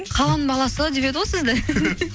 қаланың баласы деп еді ғой сізді